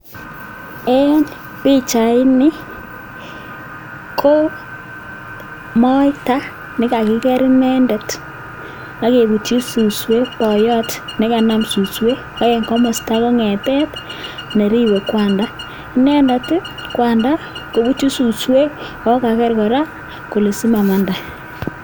Eng Pichaini ko Moira nikakiker inendet Kwanza koputu susweek AK kokakar. kora Kole simamanda